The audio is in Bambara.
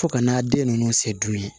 Fo ka n'a den ninnu se dumun ye